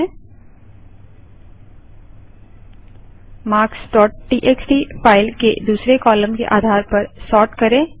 marksटीएक्सटी file के दूसरी column के आधार पर सोर्ट करें